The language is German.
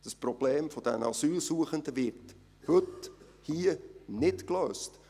Das Problem dieser Asylsuchenden wird heute hier nicht gelöst!